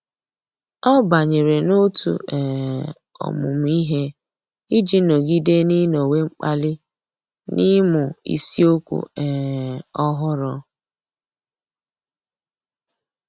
Ọ́ bányèrè n’òtù um ọ́mụ́mụ́ ihe iji nọ́gídé n’ị́nọ́wé mkpali n’ị́mụ́ isiokwu um ọ́hụ́rụ́.